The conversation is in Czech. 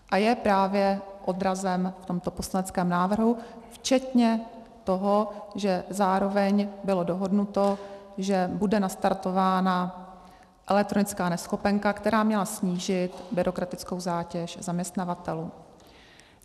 A je právě odrazem v tomto poslaneckém návrhu včetně toho, že zároveň bylo dohodnuto, že bude nastartována elektronická neschopenka, která měla snížit byrokratickou zátěž zaměstnavatelů.